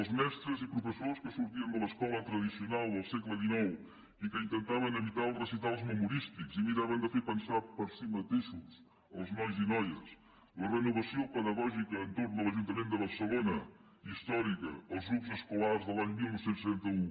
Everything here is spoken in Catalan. els mestres i professors que sortien de l’escola tradicional del segle que intentaven evitar els recitals memorístics i miraven de fer pensar per si mateixos els nois i noies la renovació pedagògica entorn de l’ajuntament de barcelona històrica els grups escolars de l’any dinou trenta u